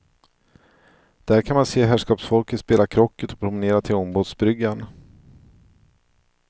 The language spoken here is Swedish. Där kan man se herrskapsfolket spela krocket och promenera till ångbåtsbryggan.